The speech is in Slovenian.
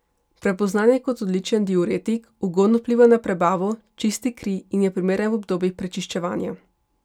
Prepoznan je kot odličen diuretik, ugodno vpliva na prebavo, čisti kri in je primeren v obdobjih prečiščevanja.